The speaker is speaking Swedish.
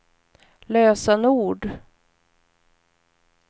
lösenord